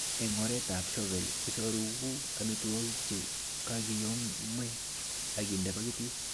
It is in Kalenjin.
En oretab shovel isoroku amitwogik che kakiyomo akinde pakitit.